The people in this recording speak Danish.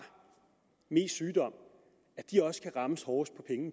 mest sygdom også skal rammes hårdest